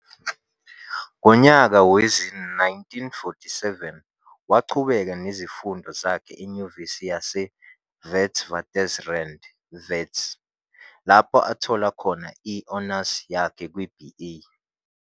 Ngonyaka wezi-1947 waqhubeka nezifundo zakhe eNyuvesi yaseWitswatersrand, Wits, lapho athola khona i-Honours yakhe kwi-B. A.